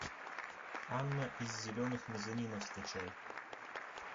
анна из зеленых мезонинов скачай